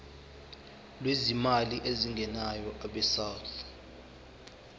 lwezimali ezingenayo abesouth